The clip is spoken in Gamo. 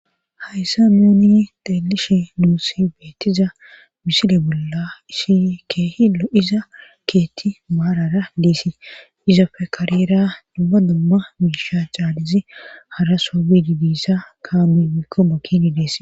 hayssa nuuni telishe nuusi beetiza misile bolla isi keeh llo'iza keetti maarara giesi izafe karira dumma dumma miisha caalizi hara soo bidi diissa kaami mikko makini dees